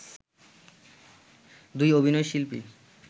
দুই অভিনয় শিল্পী